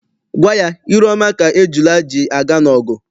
Gwa ya, ire ọma ka ejula ji aga n'ogwu!